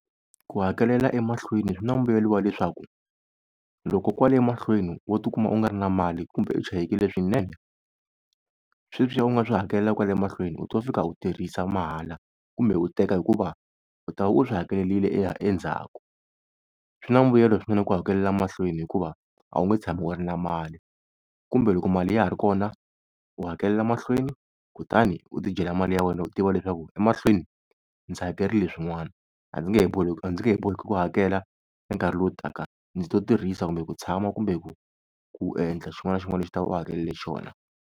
Ku hakelela emahlweni swi na mbuyelo wa leswaku, loko kwale mahlweni wo tikuma u nga ri na mali kumbe u chayekile swinene, sweswiya u nga swi hakela kwale mahlweni u to fika u tirhisa mahala kumbe u teka hikuva u ta va u swi hakelerile endzhaku. Swi na mbuyelo swinene ku hakelela mahlweni hikuva a wu nge tshami u ri na mali, kumbe loko mali ya ha ri kona u hakelela mahlweni kutani u ti dyela mali ya wena u tiva leswaku emahlweni ndzi hakerile swin'wana a ndzi nge he a ndzi nge he boheki ku hakela ka nkarhi lowu taka ndzi to tirhisa kumbe ku tshama kumbe ku endla xin'wana na xin'wana lexi u ta va u hakelerile xona.